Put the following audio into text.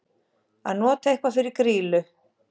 Að nota eitthvað fyrir grýlu